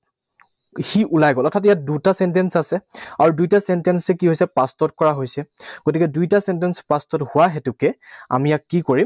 সি ওলাই গল। অৰ্থাৎ ইয়াত দুটা sentence আছে। আৰু দুইটা sentence এ কি হৈছে? Past ত কৰা হৈছে। গতিকে দুইটা sentence past ত হোৱা হেতুকে আমি ইয়াক কি কৰিম?